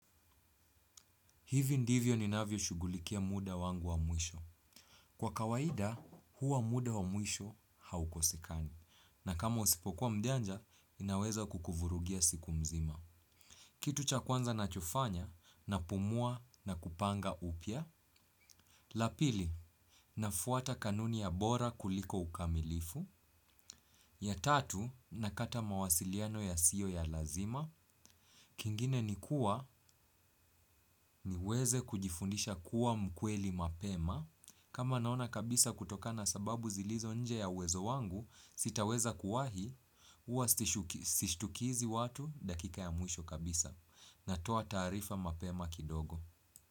Hivi ndivyo ninavyoshughulikia muda wangu wa mwisho. Kwa kawaida, huwa muda wa mwisho haukosekani. Na kama usipokuwa mjanja, inaweza kukuvurugia siku mzima. Kitu cha kwanza nachofanya, napumua na kupanga upya. La pili, nafuata kanuni ya bora kuliko ukamilifu. Ya tatu, nakata mawasiliano yasiyo ya lazima. Kingine ni kuwa niweze kujifundisha kuwa mkweli mapema. Kama naona kabisa kutoka na sababu zilizo nje ya uwezo wangu, sitaweza kuwahi, huwa sishtukizi watu dakika ya mwisho kabisa. Natoa taarifa mapema kidogo.